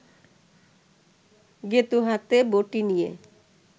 গেঁতু হাতে বটি নিয়ে